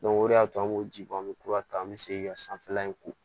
o de y'a to an b'o ji bɔ an bɛ kura ta an bɛ segin ka sanfɛla in ko